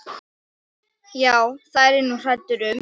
Já, það er ég nú hræddur um.